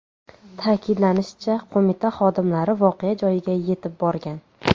Ta’kidlanishicha, qo‘mita xodimlari voqea joyiga yetib borgan.